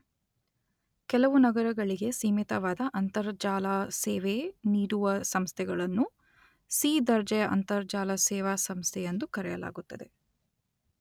ಕೆಲವು ನಗರಗಳಿಗೆ ಸೀಮಿತವಾದ ಅಂರ್ತಜಾಲ ಸೇವೆ ನೀಡುವ ಸಂಸ್ಥಗಳನ್ನು ಸೀ ದರ್ಜೆಯ ಅಂರ್ತಜಾಲ ಸೇವಾ ಸಂಸ್ಥೆಯೆಂದು ಕರೆಯಲಾಗುತ್ತದೆ.